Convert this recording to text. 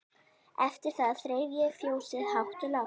Eftir það þreif ég fjósið hátt og lágt.